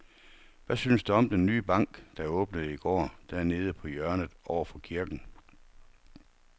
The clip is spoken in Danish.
Hvad synes du om den nye bank, der åbnede i går dernede på hjørnet over for kirken?